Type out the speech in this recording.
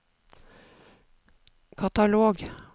katalog